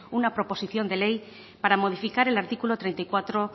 una proposición de ley para modificar el artículo treinta y cuatro